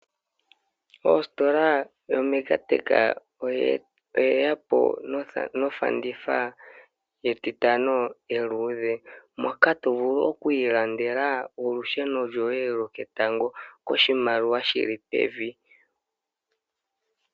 Ositola yoMegaTech oyeya po nofanditha yetitano eluudhe moka tovulu okwiilandela olusheno lwoye loketango koshimaliwa shili pevi.